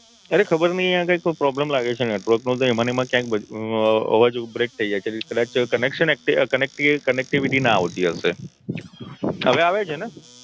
અરે ખબર નઈ આ કઈ problem લાગે છે network નો તો એમાને એમા અવાજ ઉપરેકટ થઇ જાય છે conaction connectivity ના આવતી હશે હવે આવે છે ને